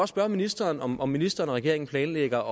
spørge ministeren om om ministeren og regeringen planlægger